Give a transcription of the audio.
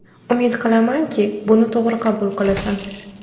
Umid qilamanki, buni to‘g‘ri qabul qilasan.